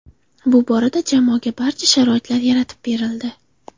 Bu borada jamoaga barcha sharoitlar yaratib berildi.